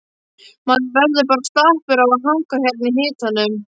Maður verður bara slappur af að hanga hérna í hitanum,